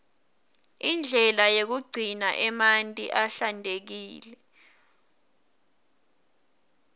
indlela yekugcina emanti ahlantekile